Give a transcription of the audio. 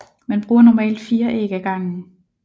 Man bruger normalt 4 æg ad gangen